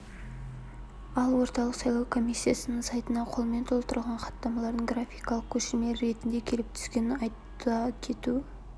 ал орталық сайлау комиссиясының сайтына қолмен толтырылған хаттамалардың графикалық көшірмелер ретінде келіп түскенін айта кету